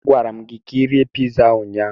A gwara m gi ka Ị rie piza ahụ ụnyaahụ.